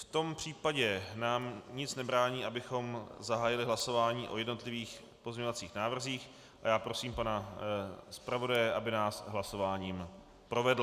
V tom případě nám nic nebrání, abychom zahájili hlasování o jednotlivých pozměňovacích návrzích, a já prosím pana zpravodaje, aby nás hlasováním provedl.